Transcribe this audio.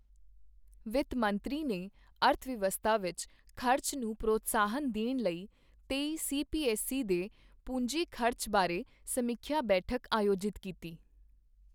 ਵਿੱਤ ਮੰਤਰੀ ਨੇ ਅਰਥਵਿਵਸਥਾ ਵਿੱਚ ਖ਼ਰਚ ਨੂੰ ਪ੍ਰੋਤਸਾਹਨ ਦੇਣ ਲਈ ਤੇਈ ਸੀਪੀਐੱਸਈ ਦੇ ਪੂੰਜੀ ਖ਼ਰਚ ਬਾਰੇ ਸਮੀਖਿਆ ਬੈਠਕ ਆਯੋਜਿਤ ਕੀਤੀ